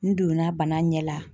N donna bana ɲɛ la